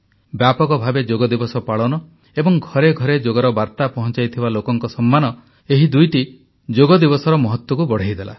ବ୍ୟାପକ ଭାବେ ଯୋଗ ଦିବସ ପାଳନ ଏବଂ ଘରେ ଘରେ ଯୋଗର ବାର୍ତ୍ତା ପହଂଚାଇଥିବା ଲୋକଙ୍କ ସମ୍ମାନ ଏହି ଦୁଇଟି ଯୋଗ ଦିବସର ମହତ୍ତ୍ବକୁ ବଢ଼ାଇଦେଲା